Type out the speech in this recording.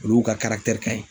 Olu ka karakitɛri kaɲi